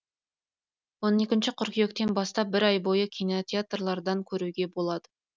он екінші қыркүйектен бастап бір ай бойы кинотеатрлардан көруге болады